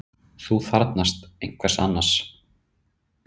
Að þú þarfnast einhvers annars.